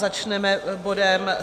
Začneme bodem